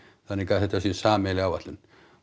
þannig að þetta sé sameiginleg áætlun